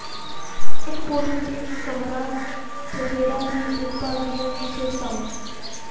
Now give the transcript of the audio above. ਇੱਕ ਪੋਟ ਵਿਚ ਇਕ ਕਮਰਾ ਜਰਬੇਰਾ ਦੀ ਦੇਖਭਾਲ ਦੀਆਂ ਵਿਸ਼ੇਸ਼ਤਾਵਾਂ